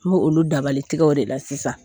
N bo olu dabalitɛgɛw de la sisan